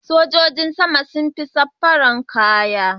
Sojojin sama sun fi sa fararen kaya.